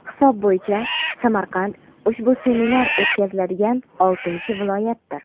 hisob bo‘yicha Samarqand ushbu seminar o‘tkaziladigan oltinchi viloyatdir.